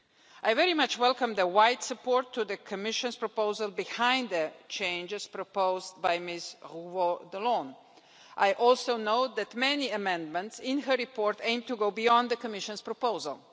I very much welcome the wide support for the Commission's proposal behind the changes proposed by Ms Revault d'Allonnes Bonnefoy. I also know that many amendments in her report aim to go beyond the Commission's proposal.